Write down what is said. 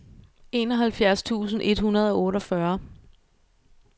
enoghalvfjerds tusind et hundrede og otteogfyrre